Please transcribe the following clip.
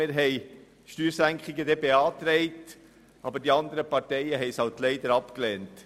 Wir haben eine Steuersenkung beantragt, aber die anderen Parteien haben sie leider abgelehnt.